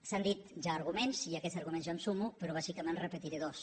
s’han dit ja arguments i a aquests arguments jo em sumo però bàsicament en repetiré dos